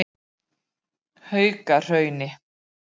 Haukahrauni